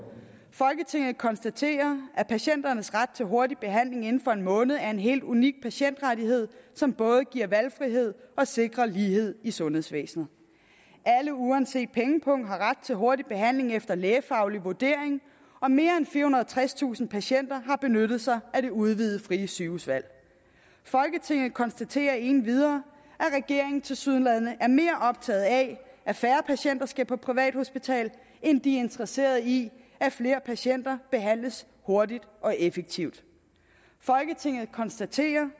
folketinget konstaterer at patienternes ret til hurtig behandling inden for en måned er en helt unik patientrettighed som både giver valgfrihed og sikrer lighed i sundhedsvæsenet alle uanset pengepung har ret til hurtig behandling efter lægefaglig vurdering og mere end firehundrede og tredstusind patienter har benyttet sig af det udvidede frie sygehusvalg folketinget konstaterer endvidere at regeringen tilsyneladende er mere optaget af at færre patienter skal på privathospital end de er interesseret i at flere patienter behandles hurtigt og effektivt folketinget konstaterer